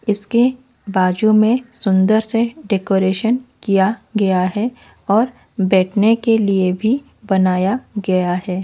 इसके बाजू में सुंदर से डेकोरेशन किया गया है और बैठने के लिए भी बनाया गया है।